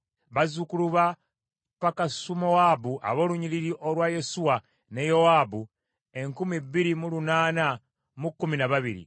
bazzukulu ba Pakasumowaabu ab’olunnyiriri olwa Yesuwa ne Yowaabu enkumi bbiri mu lunaana mu kkumi na babiri (2,812),